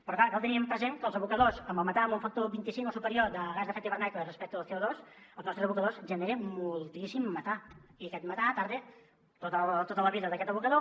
però clar cal tenir present que els abocadors amb el metà amb un factor vint cinc o superior de gas amb efecte d’hivernacle respecte al conostres abocadors generen moltíssim metà i aquest metà tarda tota la vida d’aquest abocador